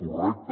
correcte